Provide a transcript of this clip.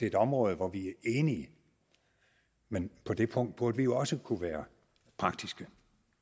et område hvor vi er enige men på det punkt burde vi jo også kunne være praktiske